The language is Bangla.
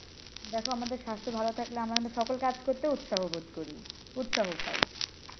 দেখো আমাদের স্বাস্থ্য ভালো থাকলে আমরা সকল কাজ করতে উৎসাহ বোধ করি উৎসাহ পাই।